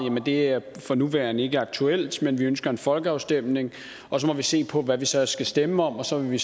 det er for nuværende ikke aktuelt men vi ønsker en folkeafstemning og så må vi se på hvad man så skal stemme om og så vil vi